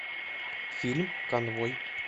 фильм конвой